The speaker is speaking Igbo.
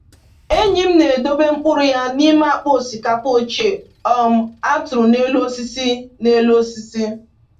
Enyi m na-edobe mkpụrụ ya n’ime akpa osikapa ochie um a tụrụ n’elu osisi n’elu osisi